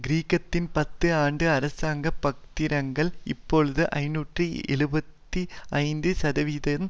கிரேக்கத்தின் பத்து ஆண்டு அராசங்கப் பத்திரங்கள் இப்பொழுது ஐநூற்று எழுபத்து ஐந்து சதவிகிதம்